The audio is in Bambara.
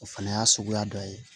O fana y'a suguya dɔ ye